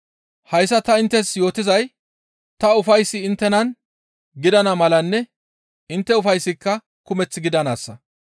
Hayssa ta inttes yootizay ta ufayssi inttenan gidana malanne intte ufayssika kumeth gidanaassa.